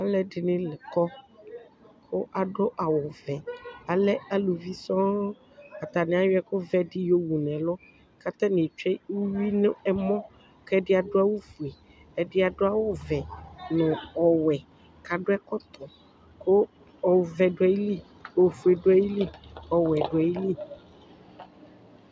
Alʋ ɛdɩnɩ kɔ, kʋ adʋ awʋ vɛ ,alɛ aluvi sɔŋ; atanɩ ayɔ ɛkʋ vɛ dɩ yɔ wu nɛlʋ, katanɩ etsue uyui n' ɛmɔ, kɛdɩ adʋ awʋ fue, ɛdɩ adʋ awʋ vɛ nʋ ɔwɛ ,kadʋ ɛkɔtɔ ,kʋ ɔvɛ dʋ ayili, ofue dʋ ayili, ɔwɛ dʋ ayili